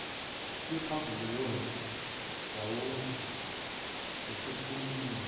kwephavaliyoni wawuzwa esekhulumela